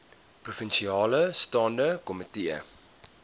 provinsiale staande komitee